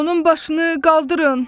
Onun başını qaldırın.